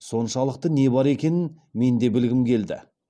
соншалық не бар екенін мен де білгім келді